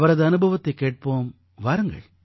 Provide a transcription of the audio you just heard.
அவரது அனுபவத்தைக் கேட்போம் வாருங்கள்